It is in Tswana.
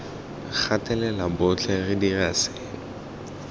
gatelela botlhe re dira seno